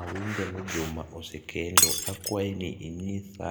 awinjo ni Juma osekendo akwayo ni inyisa